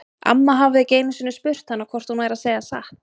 Amma hafði ekki einu sinni spurt hana hvort hún væri að segja satt.